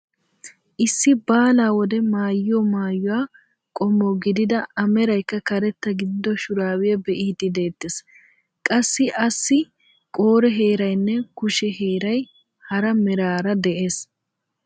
Issi baalaa wode maayiyo maayuwaa qommo gidida a meraykka karetta gidido shuraabiyaa be'iidi de'eettees. qassi assi qore heeraynne kushe heeray hara meraara de'ees.